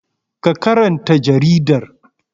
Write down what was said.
Ka karanta jaridar!